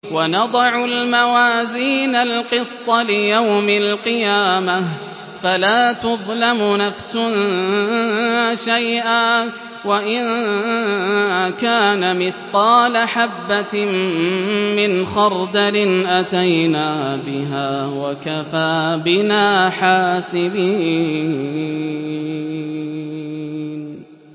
وَنَضَعُ الْمَوَازِينَ الْقِسْطَ لِيَوْمِ الْقِيَامَةِ فَلَا تُظْلَمُ نَفْسٌ شَيْئًا ۖ وَإِن كَانَ مِثْقَالَ حَبَّةٍ مِّنْ خَرْدَلٍ أَتَيْنَا بِهَا ۗ وَكَفَىٰ بِنَا حَاسِبِينَ